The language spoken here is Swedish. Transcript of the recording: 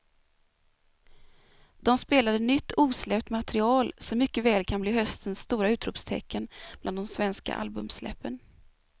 De spelade nytt osläppt material som mycket väl kan bli höstens stora utropstecken bland de svenska albumsläppen.